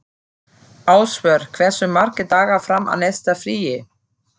Ásvör, hversu margir dagar fram að næsta fríi?